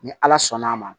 Ni ala sɔnn'a ma